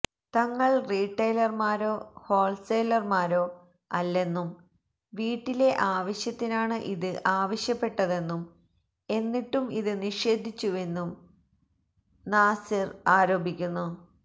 തങ്ങള് റീട്ടെയിലര്മാരോ ഹോല്സെയിലര്മാരോ അല്ലെന്നും വീട്ടിലെ ആവശ്യത്തിനാണ് ഇത് ആവശ്യപ്പെട്ടതെന്നും എന്നിട്ടും ഇത് നിഷേധിച്ചുവെന്നും നാസിര് ആരോപിക്കുന്നു